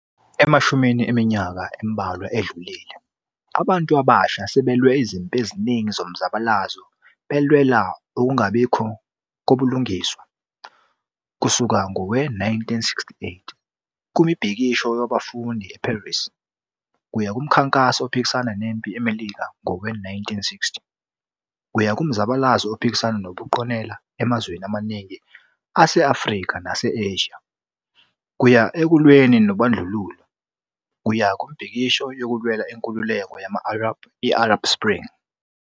Emashumini eminyaka embalwa edlulile, abantu abasha sebelwe izimpi eziningi zomzabalazo belwela ukungabikho kobulungiswa, kusuka ngowe-1968 kumbhikisho wabafundi e-Paris, kuya kumkhankaso ophikisana nempi eMelika ngowe-1960, kuya kumzabalazo ophikisana nobuqonela emazweni amaningi ase-Afrika nase-Asia, kuya ekulweni nobandlululo, kuya kumibhikisho yokulwela inkululeko yama-Arab i-Arab Spring.